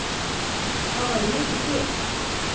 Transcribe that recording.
Þá væri ég ekki til?